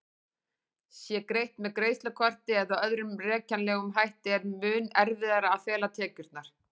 Sé greitt með greiðslukorti eða öðrum rekjanlegum hætti er mun erfiðara að fela tekjurnar.